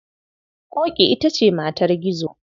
Ƙoƙi ita ce matar Gizo.